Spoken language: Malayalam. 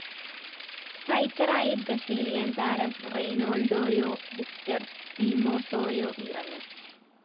സ്‌ട്രൈക്കറായി ബ്രസീലിയന്‍ താരം റെയ്‌നാള്‍ഡോയോ വിക്ടർ സിമോസോയോ ഇറങ്ങും